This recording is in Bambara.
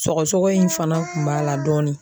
Sɔgɔsɔgɔ in fana de tun b'a la dɔɔnin.